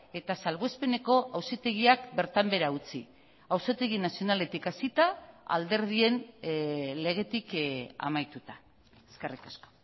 eta salbuespeneko auzitegiak bertan behera utzi auzitegi nazionaletik hasita alderdien legetik amaituta eskerrik asko